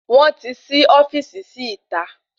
Wọn ti sí ofíìsì sí ìta